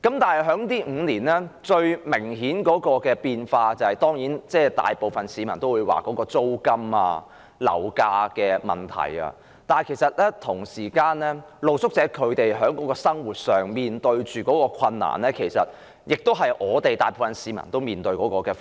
若說這5年來最明顯的變化，當然，大部分市民也會認為是在租金和樓價方面，但露宿者在生活上所面對的困難，其實亦是大部分市民也須面對的。